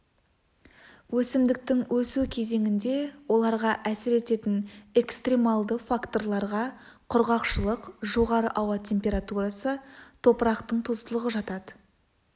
өсімдіктің өсу кезеңінде оларға әсер ететін экстремалды факторларға құрғақшылық жоғары ауа температурасы топырақтың тұздылығы жатады